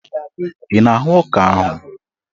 Ị na-ahụ ọka ahụ?